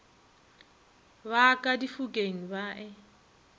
ba ka difokeng ba e